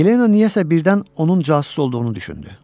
Yelena niyəsə birdən onun casus olduğunu düşündü.